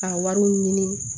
Ka wariw ɲini